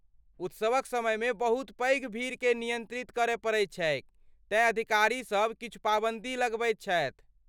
उत्सवक समयमे बहुत पैघ भीड़केँ नियन्त्रित करय पड़ैत छैक तेँ अधिकारीसभ किछु पाबन्दी लगबैत छथि।